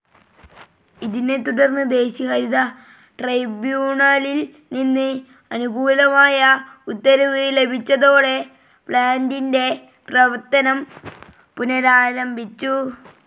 ഇതിനെത്തുടർന്ന് ദേശീയ ഹരിത ട്രൈബ്യൂണലിൽ നിന്ന് അനുകൂലമായ ഉത്തരവ് ലഭിച്ചതോടെ പ്ലാൻ്റിൻ്റെ പ്രവർത്തനം പുനരാരംഭിച്ചു.